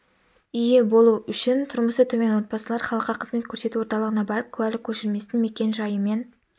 ие болу үшін тұрмысы төмен отбасылар халыққа қызмет көрсету орталығына барып куәлік көшірмесін мекен-жайы мен